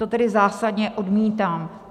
To tedy zásadně odmítám.